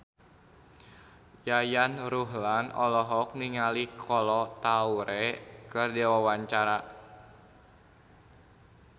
Yayan Ruhlan olohok ningali Kolo Taure keur diwawancara